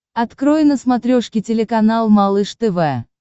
открой на смотрешке телеканал малыш тв